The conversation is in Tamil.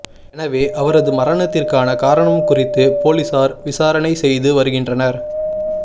எனவே அவரது மரணத்திற்கான காரணம் குறித்து போலீசார் விசாரணை செய்து வருகின்றனர்